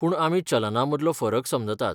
पूण आमी चलना मदलो फरक समजतात.